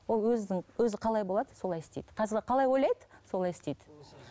ол өзінің өзі қалай болады солай істейді қазір қалай ойлайды солай істейді